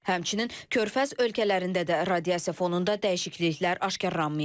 Həmçinin körfəz ölkələrində də radiasiya fonunda dəyişikliklər aşkaralanmayıb.